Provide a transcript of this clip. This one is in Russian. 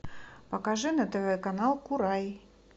покажи на тв канал курай